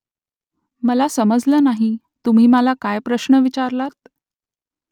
मला समजलं नाही तुम्ही मला काय प्रश्न विचारलात ?